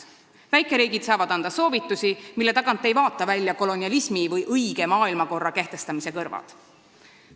Väikeriigid saavad anda soovitusi, mille tagant ei vaata välja kolonialismi või õige maailmakorra kehtestamise kõrvad.